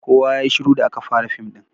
Kowa yayi shiru da aka fara fim ɗin.